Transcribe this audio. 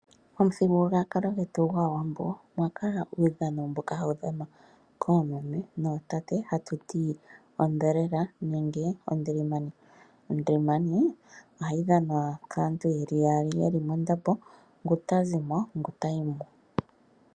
Momuthigululwakalo gwetu gwAawambo omwa kala uudhano mbono hawu dhanwa koomeme nootate hatu ti ondhelela nenge ondilimani. Ondilimani ohayi dhanwa kaantu ye li yaali ye li mondambo ngu tazi mo ngu tayi mo.